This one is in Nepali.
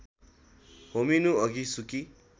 होमिनुअघि सुकी